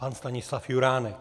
Pan Stanislav Juránek.